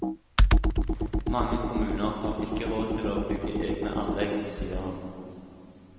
Mange kommuner har ikke råd til å bygge egne anlegg, sier han.